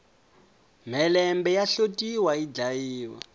mhelembe ya hlotiwa yi dlayiwa